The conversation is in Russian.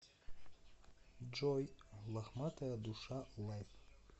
джой лохматая душа лайв